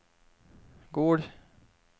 Gol